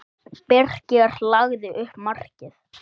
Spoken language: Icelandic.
Birkir lagði upp markið.